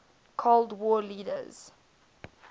cold war leaders